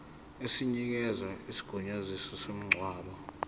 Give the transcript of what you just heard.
esinikeza isigunyaziso somngcwabo